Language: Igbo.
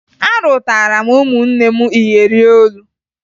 Arụtara m ụmụnne m iyeri olu